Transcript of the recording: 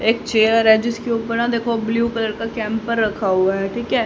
एक चेयर है जिसके ऊपर न देखो ब्लू कलर का कैंपर रखा हुआ है ठीक है।